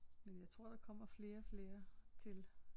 Men jeg tror der kommer flere og flere til